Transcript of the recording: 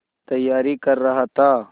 तैयारी कर रहा था